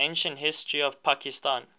ancient history of pakistan